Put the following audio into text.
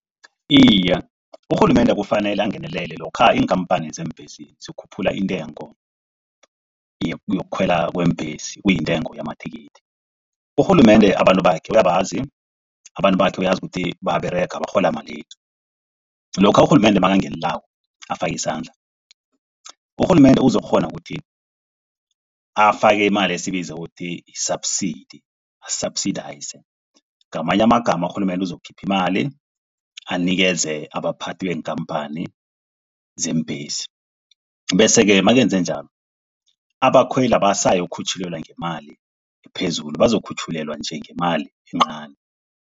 Iye, urhulumende kufanele angenelele lokha iinkhamphani zeembhesi zikhuphula intengo yokukhwelwa kweembhesi kuyintengo yamathikithi. Urhulumende abantu bakhe uyabazi, abantu bakhe uyazi ukuthi bayaberega barhola malini. Lokha urhulumende makangenelelako afake isandla. Urhulumende uzokukghona ukuthi afake imali esibiza ukuthi yi-subsidy a-subsidiser. Ngamanye amagama urhulumende uzokukhipha imali anikeze abaphathi, beenkhamphani zeembhesi. Bese-ke makenze njalo abakhweli abasayokukhutjhulelwa ngemali ephezulu bazokukhutjhulelwa nje ngemali encani.